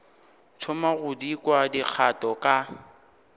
thoma go kwa dikgato ka